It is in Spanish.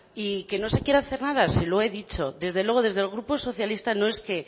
y que no se quiera hacer nada se lo he dicho desde luego desde el grupo socialista no es que